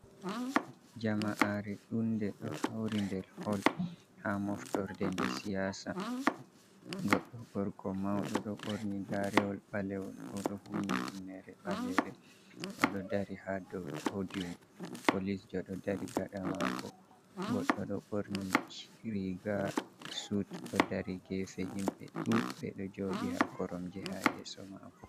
Jama'aare ɗuunnde ɗo hawri nder "hall" ha mooftorde nde "siyaasa" goɗɗo gorko mawɗo ɗo ɓorni gaarewol ɓalewol, o ɗo humni humneere ɓaleere. O ɗo dari ha dow "podiyum" polisjo ɗo dari gaɗa maako. Goɗɗo ɗo borni riiga "sud" ɗo dari geefe. Himɓe ɗuuɗbe ɗo jooɗi ha koromje ha yeeso maako.